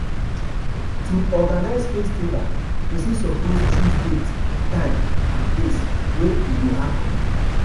To organize festival persin suppose choose date, time and place wey e go happen